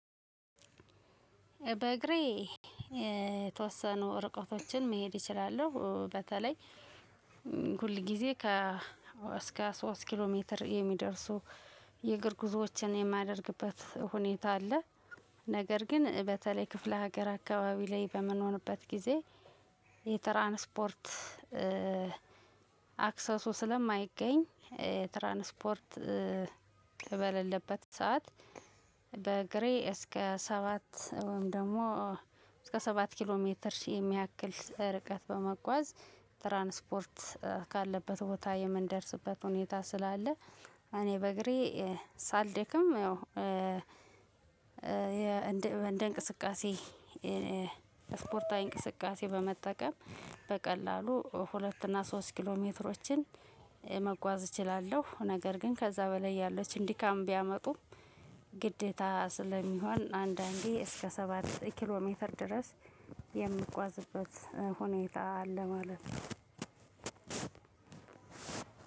በእግሬ የተወሰኑ እርቀቶችን መሄድ እችላለሁ። በተለይ ሁል ጊዜ ከ እስከ ሶስት ኪሎ ሜትር የሚደርሱ የእግር ጉዞዎችን የማደርግበት ሁኔታ አለ። ነገር ግን በተለይ ክፍለ ሀገር አካባቢ ላይ በመኖርበት ጊዜ። የትራንስፖርት አክሰሱ ስለማይገኝ ትራንስፖርት ትበሌለበት ሰዓት በግሬ እስከ ሰባት ወይም ደግሞ እስከ ሰባት ኪሎ ሜትር ሺህ የሚያክል ርቀት በመጓዝ ትራንስፖርት ካለበት ቦታ የምንደርስበት ሁኔታ ስላለ እኔ በእግሬ ሳልደክም። ያው እንደ እንቅስቃሴ ስፖርታዊ እንቅስቃሴ በመጠቀም በቀላሉ ሁለት እና ሶስት ኪሎ ሜትሮችን መጓዝ እችላለሁ። ነገር ግን ከዛ በላይ ያለችን ድካም ቢያመጡም ግዴታ ስለሚሆን አንዳንዴ እስከ ሰባት ኪሎ ሜትር ድረስ የምጓዝበት ሁኔታ አለ ማለት። ነው።